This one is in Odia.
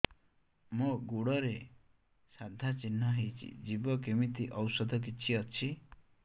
ମୋ ଗୁଡ଼ରେ ସାଧା ଚିହ୍ନ ହେଇଚି ଯିବ କେମିତି ଔଷଧ କିଛି ଅଛି